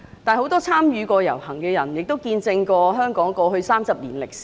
很多參與過那次遊行的人，也見證了香港過去30年的歷史。